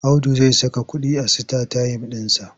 Audu zai saka kuɗi a sitatayim ɗinsa.